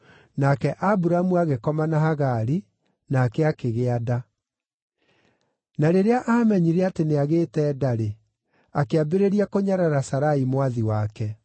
Nake Aburamu agĩkoma na Hagari, nake akĩgĩa nda. Na rĩrĩa aamenyire atĩ nĩagĩĩte nda-rĩ, akĩambĩrĩria kũnyarara Sarai mwathi wake.